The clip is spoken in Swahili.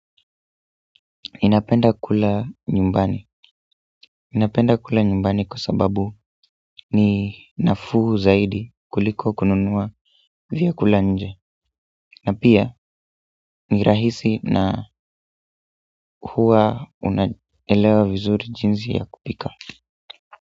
Ninapenda kula nyumbani ninapenda kula nyumbani kwa sababu ni nafuu zaidi kuliko kununua vyakula nje. Na pia ni rahisi na huwa unaelewa vizuri jinsi ya kupika.